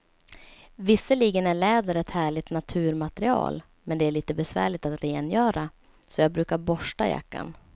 Visserligen är läder ett härligt naturmaterial, men det är lite besvärligt att rengöra, så jag brukar borsta jackan.